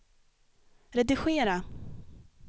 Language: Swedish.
redigera